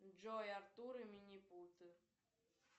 джой артур и минипуты